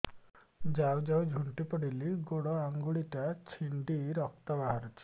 ଯାଉ ଯାଉ ଝୁଣ୍ଟି ପଡ଼ିଲି ଗୋଡ଼ ଆଂଗୁଳିଟା ଛିଣ୍ଡି ରକ୍ତ ବାହାରୁଚି